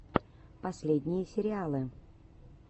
последние сериалы